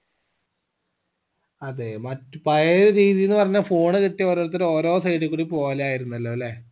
അതെ മറ്റു പഴയ രീതിന്നു പറഞ്ഞ phone കിട്ടിയ ഓരോരുത്തര് ഓരോ side കൂടി പോവലായിരുന്നല്ലോ അല്ലെ